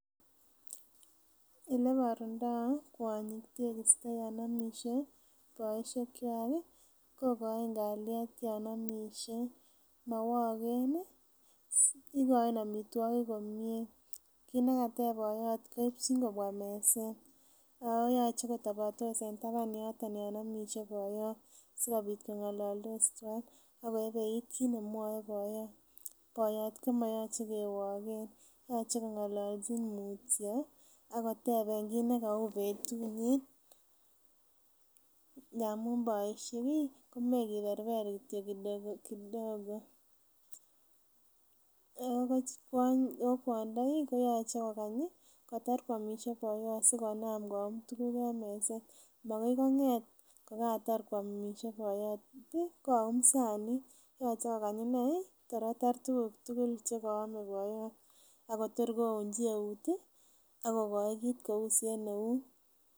Eleborundo kwonyik tegisto yon omisie boosiekkwak kokoin kalyet yan omisie mowoken ih ikoin amitwogik komie, kit nekatep boiyot koipchin kobwa meset ako yoche kotobotos en taban yoton yan omisie boiyot sikobit kong'ololdis twan ako eibeit kit nemwoe boyot. Boyot komoyoche kewoken yoche keng'ololji mutyo akoteben kit nekou betunyin ngamun boisiek ih komoe kiberber kityo kidogo kidogo ako kwondo ih koyoche kokany ih kotar koomisie boyot sikonam koum tuguk en meset makoi kong'et kokatar koomisie boyot koyum sanit yoche kokany inei tor kotar tuguk tugul chekoome boyot akotor kounji eut akokoi kit kousen eut